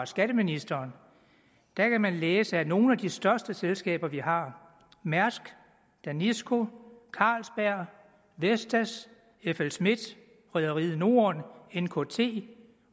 skatteministeren kan man læse at nogle af de største selskaber vi har mærsk danisco carlsberg vestas flsmidth rederiet norden nkt